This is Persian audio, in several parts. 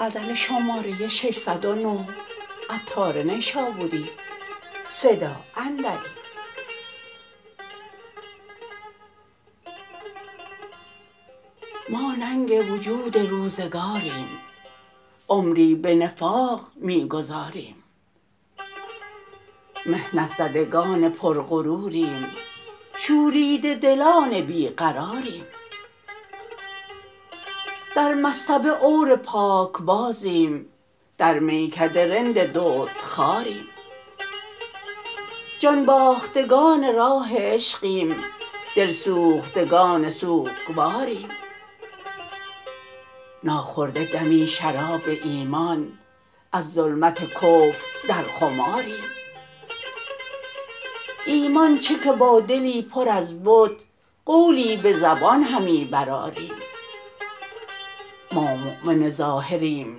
ما ننگ وجود روزگاریم عمری به نفاق می گذاریم محنت زدگان پر غروریم شوریده دلان بیقراریم در مصطبه عور پاکبازیم در میکده رند درد خواریم جان باختگان راه عشقیم دلسوختگان سوکواریم ناخورده دمی شراب ایمان از ظلمت کفر در خماریم ایمان چه که با دلی پر از بت قولی به زبان همی برآریم ما مؤمن ظاهریم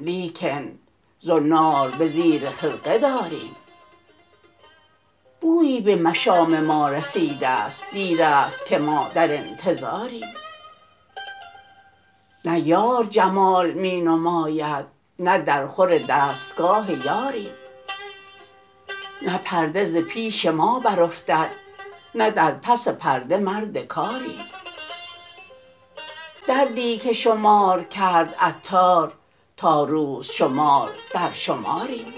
لیکن زنار به زیر خرقه داریم بویی به مشام ما رسیده است دیر است که ما در انتظاریم نه یار جمال می نماید نه در خور دستگاه یاریم نه پرده ز پیش ما برافتد نه در پس پرده مرد کاریم دردی که شمار کرد عطار تا روز شمار در شماریم